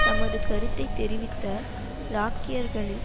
தமது கருத்தை தெரிவித்த ராக்கியர்கள்